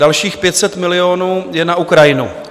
Dalších 500 milionů je na Ukrajinu.